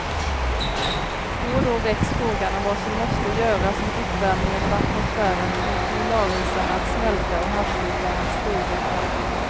Då och då väcks frågan om vad som måste göras om uppvärmingen av atmosfären får polarisarna att smälta och havsytan att stiga.